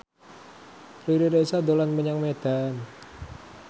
Riri Reza dolan menyang Medan